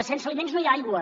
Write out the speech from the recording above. sense aliments no hi ha aigua